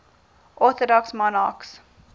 orthodox monarchs